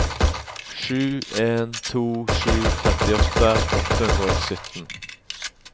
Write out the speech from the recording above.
sju en to sju femtiåtte åtte hundre og sytten